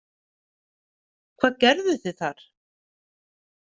Hvað gerðuð þið þar?